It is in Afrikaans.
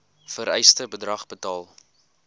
vereiste bedrag betaal